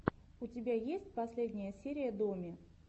у тебя есть последняя серия доми